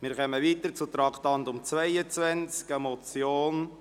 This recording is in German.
Wir kommen zum Traktandum 22, die Motion: